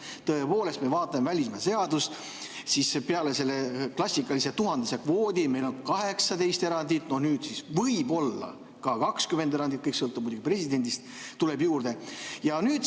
Tõepoolest, kui me vaatame välismaalaste seadust, siis peale selle klassikalise tuhandese kvoodi on meil 18 erandit, nüüd võib-olla ka 20 erandit, kõik sõltub muidugi presidendist, tuleb juurde.